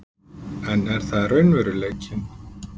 En er það raunveruleikinn?